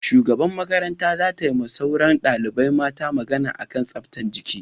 Shugaban mata za ta ma sauran dalibai mata magana a kan tsaftan jiki